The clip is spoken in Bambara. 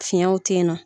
Fiɲɛw te yen nɔ